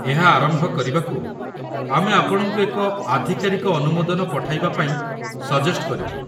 ଏହା ଆରମ୍ଭ କରିବାକୁ ଆମେ ଆପଣଙ୍କୁ ଏକ ଆଧିକାରିକ ଅନୁମୋଦନ ପଠାଇବା ପାଇଁ ସଜେଷ୍ଟ କରିବୁ।